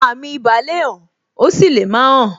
Àwọn àmì ibà le hàn, ó sì lè má hàn.